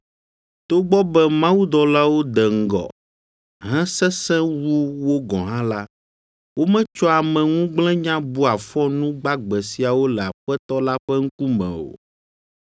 Togbɔ be mawudɔlawo de ŋgɔ, hesesẽ wu wo gɔ̃ hã la, wometsɔa ameŋugblẽnya bua fɔ nu gbagbe siawo le Aƒetɔ la ƒe ŋkume o.